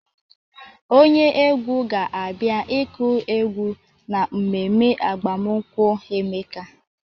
Onye egwu ga-abịa ịkụ egwu na mmemme agbamnkwụ Emeka.